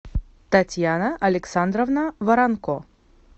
татьяна александровна воронко